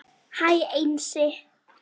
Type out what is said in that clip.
Hæ Einsi